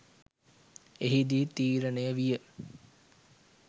එහිදී තීරණය විය